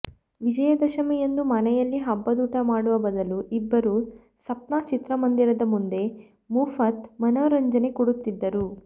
ವಿಜಯದಶಮಿಯಂದು ಮನೆಯಲ್ಲಿ ಹಬ್ಬದೂಟ ಮಾಡುವ ಬದಲು ಇಬ್ಬರೂ ಸಪ್ನ ಚಿತ್ರಮಂದಿರದ ಮುಂದೆ ಮುಫತ್ ಮನರಂಜನೆ ಕೊಡುತ್ತಿದ್ದರು